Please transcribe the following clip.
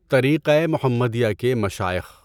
طریقۂ محمدیہ کے مشائخ